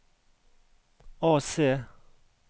AC